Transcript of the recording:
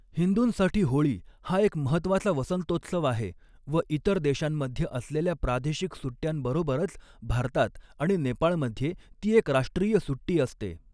हिंदूंसाठी होळी हा एक महत्त्वाचा वसंतोत्सव आहे व इतर देशांमध्ये असलेल्या प्रादेशिक सुट्यांबरोबरच, भारतात आणि नेपाळमध्ये ती एक राष्ट्रीय सुट्टी असते.